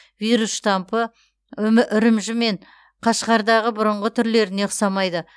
вирус штампы үрімжі мен қашғардағы бұрынғы түрлеріне ұқсамайды